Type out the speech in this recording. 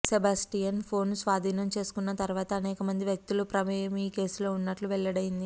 Sebastian phone స్వాధీనం చేసుకున్న తర్వాతే అనేక మంది వ్యక్తుల ప్రమేయం ఈ కేసులో ఉన్నట్లు వెల్లడైంది